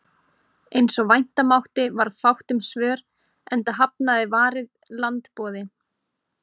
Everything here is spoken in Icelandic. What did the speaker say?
Eins og vænta mátti varð fátt um svör, enda hafnaði Varið land boði